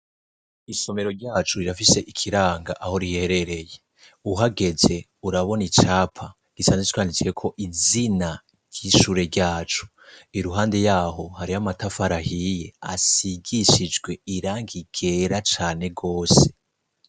Isomero ryacu rirafise ikiranga aho riherereye, uhageze urabona icapa gisanzwe canditsweko izina ry'ishure ryacu, iruhande yaho hari amatafara ahiye asigishijwe irangi ryera cane gose.